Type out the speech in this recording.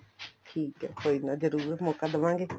ਠੀਕ ਏ ਕੋਈ ਨਾ ਜਰੂਰ ਮੋਕਾ ਦਵਾਗੇ